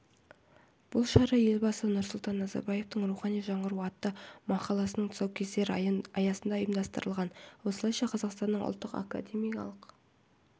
бұл шара елбасы нұрсұлтан назарбаевтың рухани жаңғыру атты мақаласының тұсаукесері аясында ұйымдастырылған осылайша қазақстанның ұлттық академиялық